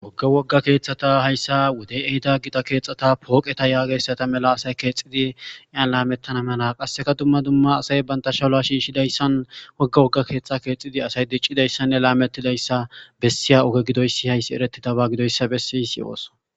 Wogge wogga keetthata hayssa wodey ehida gida keexata pooqeta yaageyssata mela asay keexidi yan laamettana mela qasseka dumma dumma asay banta shala shiishshidayssan wogga wogga keexxa keexidi asay diccidayssanne laamettidayssa bessiya oge gidoysi hayssi eretidaba gidoyssa bessiysi ooso.